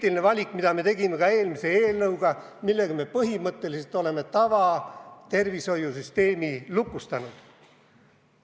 Selle valiku me tegime ka eelmise eelnõuga, millega me põhimõtteliselt oleme tavatervishoiu süsteemi lukustanud.